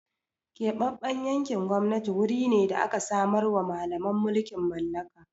Keɓaɓɓen yankin gwamnati guri ne da da aka samarwa Mallaman mulkin mallaka.